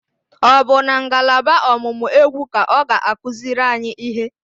Ọ bụ na ngalaba ọ̀mụ̀mụ̀ égwú ka ọ ga-akụziri anyị ihe?